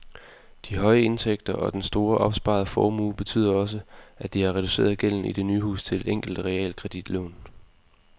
De høje indtægter og den store opsparede formue betyder også, at de har reduceret gælden i det nye hus til et enkelt realkreditlån.